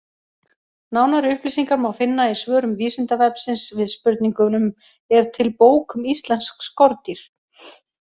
Nánari upplýsingar má finna í svörum Vísindavefsins við spurningunum: Er til bók um íslensk skordýr?